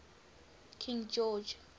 king george